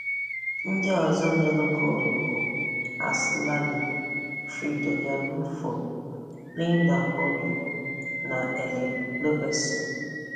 Ndị Ndị ọzọ nyere goolu bụ Aslani, Fridolia Rolfo, Linda Huuritg na Elin Rubensson.